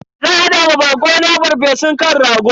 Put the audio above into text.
Zan hada wa bako na farfesun kan rago.